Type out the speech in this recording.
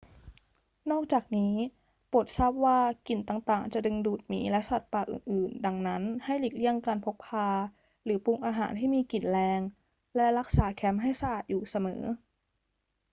นอกจากนี้ โปรดทราบว่ากลิ่นต่าง ๆ จะดึงดูดหมีและสัตว์ป่าอื่น ๆ ดังนั้น ให้หลีกเลี่ยงการพกพาหรือปรุงอาหารที่มีกลิ่นแรง และรักษาแคมป์ให้สะอาดอยู่เสมอ